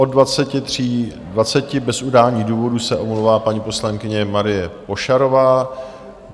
Od 23.20 bez udání důvodu se omlouvá paní poslankyně Marie Pošarová.